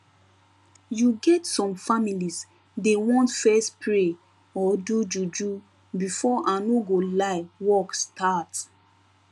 you get some families dey want fess pray or do juju before i no go lie work start